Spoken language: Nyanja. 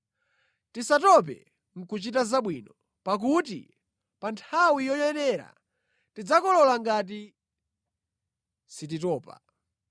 Tisatope nʼkuchita zabwino, pakuti pa nthawi yoyenera tidzakolola ngati sititopa.